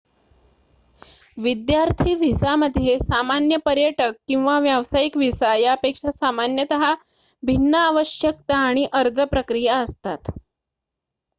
विद्यार्थी व्हिसामध्ये सामान्य पर्यटक किंवा व्यावसायीक व्हिसा यापेक्षा सामान्यत भिन्न आवश्यकता आणि अर्ज प्रक्रिया असतात